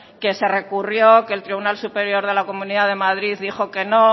que se recurrió que el tribunal superior de la comunidad de madrid dijo que no